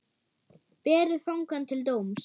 Berið fangann til dóms.